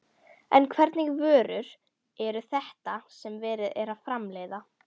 En hvernig vörur eru þetta sem verið er að framleiða?